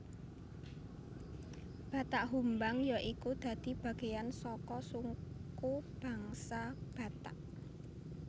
Batak Humbang ya iku dadi bagean saka suku bangsa Batak